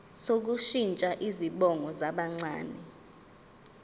sokushintsha izibongo zabancane